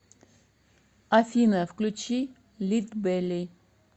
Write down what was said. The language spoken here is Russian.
афина включи лидбелли